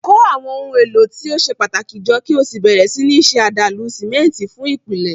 Kó àwọn ohun èlò tí ó ṣe pàtàkì jọ kí o sì bẹ̀rẹ̀ sí ní ṣe àdàlù símẹ́ńtì fún ìpìlẹ̀.